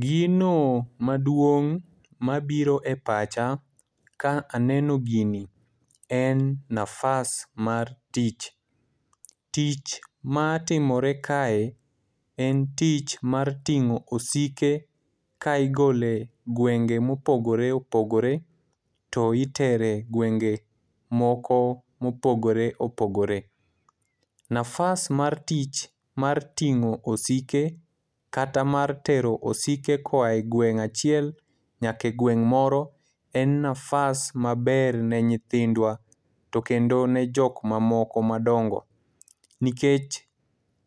Gino maduong' ma biro e pacha ka aneno gini en nafas mar tich. Tich matimore kae, en tich mar ting'i osike kaigole gwenge ma opogore opogore to itere gwenge moko ma opogore opogore. Nafas mar tich mar ting'o osike, kata mar tero osike ka oae gweng' achiel nyala e gweng' moro, en nafas maber ne nyithindwa, kendo ne jok ma moko madongo. Nikech